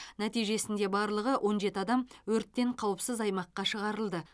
нәтижесінде барлығы он жеті адам өрттен қауіпсіз аймаққа шығарылды